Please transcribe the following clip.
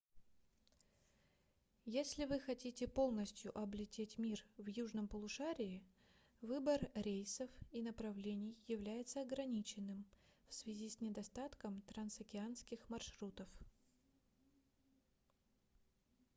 если вы хотите полностью облететь мир в южном полушарии выбор рейсов и направлений является ограниченным в связи с недостатком трансокеанских маршрутов